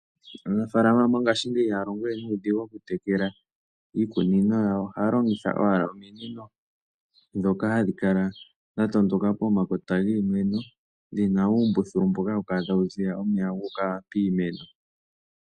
Aanafalama mongashingeyi ihaya longo we nuudhigu okutekela iikunino yawo. Ohaya longitha owala ominino ndhoka hadhi kala dha tondoka pomakota giimeno dhi na uumbululu mboka hawu kala tawu ziya omeya gu uka piimeno.